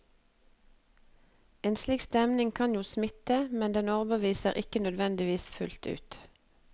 En slik stemning kan jo smitte, men den overbeviser ikke nødvendigvis fullt ut.